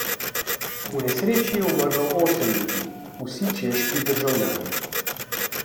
V nesreči je umrlo osem ljudi, vsi češki državljani.